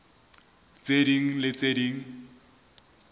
tse ding le tse ding